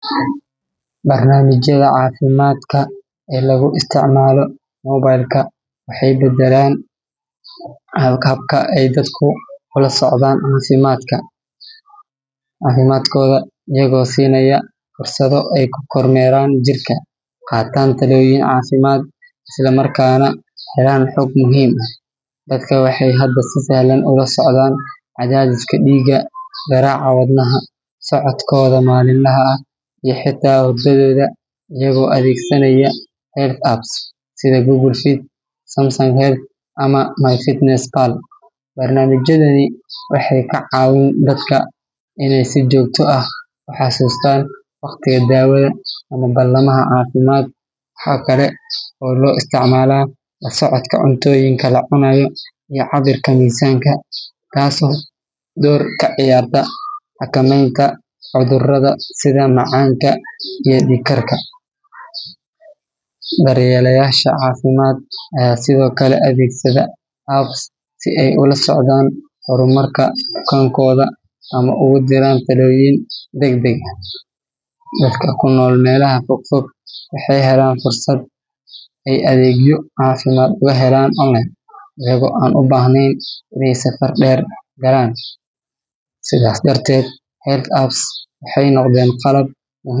Barnaamijyada caafimaadka ee lagu isticmaalo mobile-ka waxay beddeleen habka ay dadku ula socdaan caafimaadkooda, iyagoo siinaya fursado ay ku kormeeraan jirka, qaataan talooyin caafimaad, isla markaana helaan xog muhiim ah. Dadka waxay hadda si sahlan ula socdaan cadaadiska dhiigga, garaaca wadnaha, socodkooda maalinlaha ah iyo xitaa hurdadooda iyagoo adeegsanaya health apps sida Google Fit, Samsung Health ama MyFitnessPal. Barnaamijyadani waxay ka caawiyaan dadka inay si joogto ah u xasuustaan waqtiga daawada ama ballamaha caafimaad. Waxaa kale oo loo isticmaalaa la socodka cuntooyinka la cunayo iyo cabirka miisaanka, taasoo door ka ciyaarta xakamaynta cudurrada sida macaanka iyo dhiigkarka. Daryeelayaasha caafimaad ayaa sidoo kale adeegsada apps si ay ula socdaan horumarka bukaanadooda ama ugu diraan talooyin degdeg ah. Dadka ku nool meelaha fog fog waxay heleen fursad ay adeegyo caafimaad uga helaan online iyagoo aan u baahnayn inay safar dheer galaan. Sidaas darteed, health apps waxay noqdeen qalab.